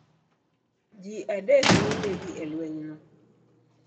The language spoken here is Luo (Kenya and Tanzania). Ji adek ne onegi e lwenyno.